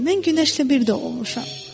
Bilin, mən günəşlə bir də olmuşam.